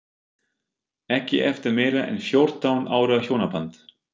Ekki eftir meira en fjórtán ára hjónaband.